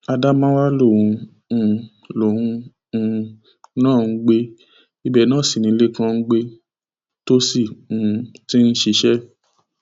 ádámáwá lòun um lòun um náà ń gbé ibẹ náà sí ni lẹkàn ń gbé tó sì um ti ń ṣiṣẹ